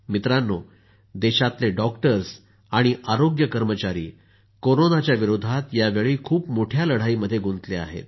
मित्रांनो देशातले डॉक्टर्स आणि आरोग्य कर्मचारी कोरोनाच्या विरोधात यावेळी खूप मोठ्या लढाईमध्ये गुंतले आहेत